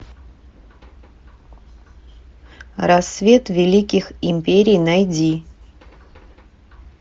рассвет великих империй найди